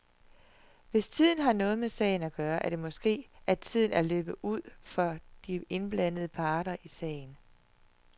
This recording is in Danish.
Hvis tiden har noget med sagen at gøre, er det måske, at tiden er løbet ud for de indblandede parter i sagen.